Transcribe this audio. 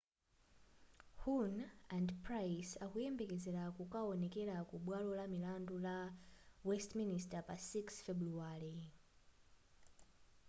huhne and pryce akuyembekezela kukaonekela ku bwalo la milandu la westminister pa 6 febuluwale